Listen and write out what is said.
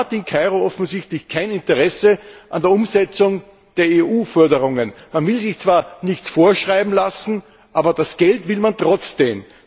Man hat in Kairo offensichtlich kein Interesse an der Umsetzung der EU Forderungen. Man will sich zwar nichts vorschreiben lassen, aber das Geld will man trotzdem.